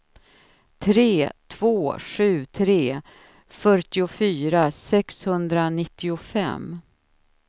tre två sju tre fyrtiofyra sexhundranittiofem